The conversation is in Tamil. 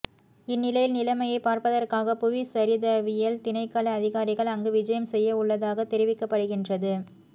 இந்நிலையில் நிலைமையை பார்ப்பதற்காக புவிச்சரிதவியல் திணைக்கள அதிகாரிகள் அங்கு விஜயம் செய்யவுள்ளதாக தெரிவிக்கப்படுகின்றது